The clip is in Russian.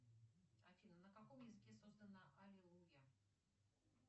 афина на каком языке создана аллилуйя